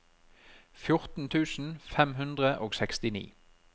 fjorten tusen fem hundre og sekstini